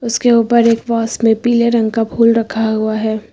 उसके ऊपर एक वास में पीले रंग का फूल रखा हुआ है।